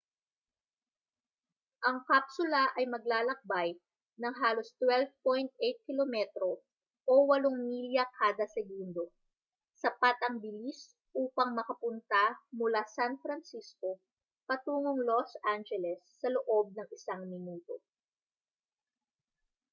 ang kapsula ay maglalakbay nang halos 12.8 km o 8 milya kada segundo sapat ang bilis upang makapunta mula san francisco patungong los angeles sa loob ng isang minuto